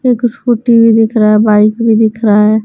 एक स्कूटी भी दिख रहा है बाइक भी दिख रहा है --